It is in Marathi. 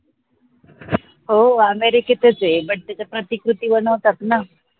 हो अमेरिकेतच ए but त्याच्या प्रतिकृती बनवतात न